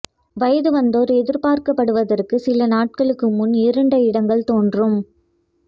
வயது வந்தோர் எதிர்பார்க்கப்படுவதற்கு சில நாட்களுக்கு முன்பு இருண்ட இடங்கள் தோன்றும்